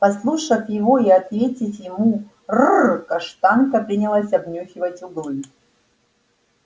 послушав его и ответить ему ррр каштанка принялась обнюхивать углы